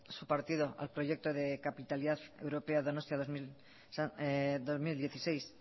su partido al proyecto de capitalidad europea donostia dos mil dieciséis